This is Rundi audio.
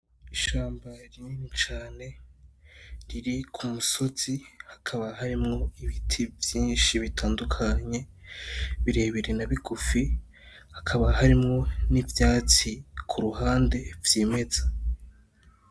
Ishamba rinini cane riri ku musozi, hakaba harimwo ibiti vyinshi bitandukanye, bire bire na bigufi, hakaba harimwo n’ivyatsi ku ruhande vyimeza.